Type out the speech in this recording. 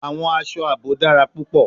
Awọn aṣọ aabo dara pupọ